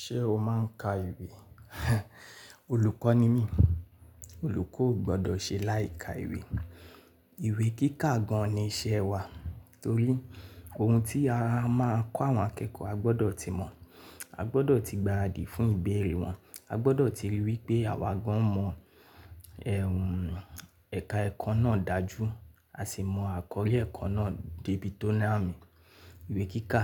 Ṣé o máa ń ka ìwé? Olùkọ́ ni mí, olùkọ́ ò gbọdọ̀ ṣe láì ka ìwé. Ìwé kíkà gan-an ni iṣẹ́ wa, torí ohun tí a máa ń kọ́ àwọn akẹ́kọ̀ọ́, a gbọdọ̀ ti mọ̀, a gbọdọ̀ ti gba àdìí fún ìbéèrè wọn, a gbọdọ̀ ti ríi wí pé àwa gan-an mọ ẹka ẹ̀kọ́ náà dájú, a sì mọ àkọrí ẹ̀kọ́ náà débi tó náà mì. Ìwé kíkà,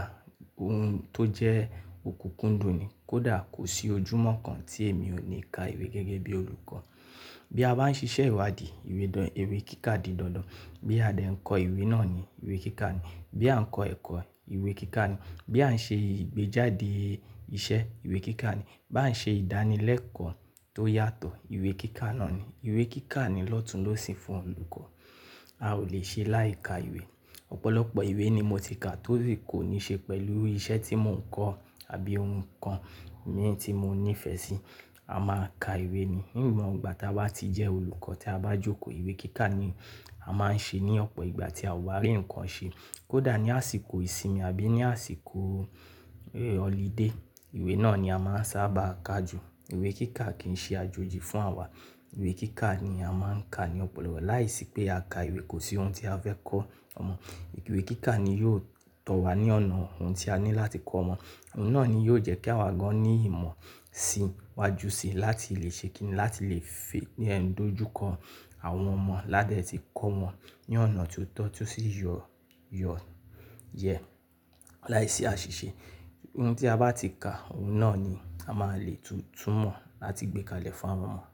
ohun tó jẹ́ òkùnkùn dùn ni, kódà kò sí ojúmọ́ kan tí èmi ò ní ka ìwé gẹ́gẹ́ bí olùkọ́. Bí a bá ń ṣiṣẹ́ ìwádìí, ìwé kíkà di dandan, bí a dẹ ń kọ ìwé náà ni ìwé kíkà ni, bí à ń kọ ẹ̀kọ́, ìwé kíkà ni, bí à ń ṣe ìgbéjáde iṣẹ́, ìwé kíkà ni, bá ń ṣe ìdánilẹ́kọ̀ọ́ tó yàtọ̀, ìwé kíkà náà ni. Ìwé kíkà ni lọ́tùn-lósìn fún olùkọ́. A ò lè ṣe láì ka ìwé. Ọ̀pọ̀lọpọ̀ ìwé ni mo ti kà tó sì kó ni ṣe pẹ̀lú iṣẹ́ tí mò ń kọ́ àbí ohun kan mi tí mo nífẹ̀ẹ́ sí. A máa ń ka ìwé ni. Ní ìgbà gbogbo ìgbà tá a ti jẹ́ olùkọ́ tí a bá jókòó, ìwé kíkà ni a máa ń ṣe ní ọ̀pọ̀ ìgbà tí a ò bá rí ǹkan ṣe. Kódà ní àsìkò ìsinmi àbí ní àsìkò holiday, ìwé náà ni a máa ń sábà ka jù. Ìwé kíkà kì í ṣe àjòjì fún àwa. Ìwé kíkà ni a máa ń ka ní ọpọlọpọ̀ láìsí pé a ka ìwé kò sí ohun tí a fẹ́ kọ́ ọmọ. Ìwé kíkà ni yóò tọ̀ wá ní ọ̀nà ohun tí a ní láti kọ́ ọmọ. Ohun náà ni yóò jẹ́ kí àwa gan-an ní ìmọ̀ sí iwájú si láti lè ṣe kìn-ín láti lè fẹ́ ní ẹnu dojúkọ àwọn ọmọ ládẹ̀ tí kọ́ wọn ní ọ̀nà ti ó tọ́ tí ó sì yọ yẹ láìsí àṣìṣe. Ohun tí a bá ti kà òun náà ni a máa lè túnmọ̀ láti gbé kalẹ̀ fún àwọn.